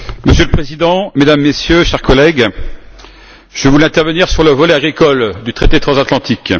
Monsieur le Président, Mesdames, Messieurs, chers collègues, je voulais intervenir sur le volet agricole du traité transatlantique.